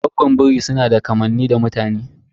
Goggon biri sunada kamanni da mutane.